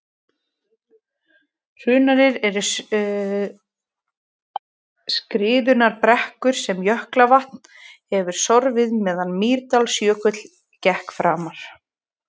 hrunarnir eru skriðurunnar brekkur sem jökulvatn hefur sorfið meðan mýrdalsjökull gekk framar